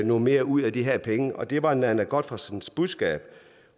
noget mere ud af de her penge det var nanna godtfredsens budskab